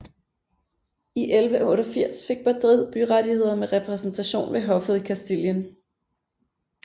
I 1188 fik Madrid byrettigheder med repræsentation ved hoffet i Castilien